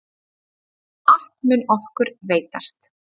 Allt mun okkur veitast.